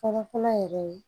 Fɔlɔ fɔlɔ yɛrɛ